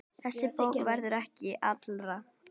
Þessi bók verður ekki allra.